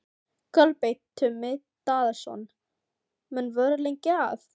Kolbeinn Tumi Daðason: Menn voru lengi að?